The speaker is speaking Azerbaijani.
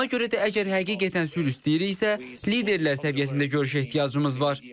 Buna görə də əgər həqiqətən sülh istəyirsə, liderlər səviyyəsində görüşə ehtiyacımız var.